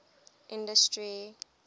industry